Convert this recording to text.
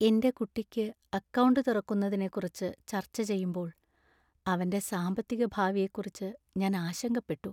എന്‍റെ കുട്ടിക്ക് അക്കൗണ്ട് തുറക്കുന്നതിനെക്കുറിച്ച് ചർച്ച ചെയ്യുമ്പോൾ, അവന്‍റെ സാമ്പത്തിക ഭാവിയെക്കുറിച്ചു ഞാൻ ആശങ്കപ്പെട്ടു.